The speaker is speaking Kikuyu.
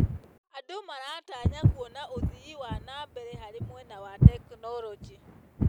Andũ maratanya kuona ũthii wa na mbere harĩ mwena wa tekinoronjĩ.